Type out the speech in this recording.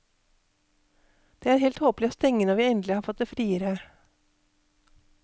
Det er helt tåpelig å stenge når vi endelig har fått det friere.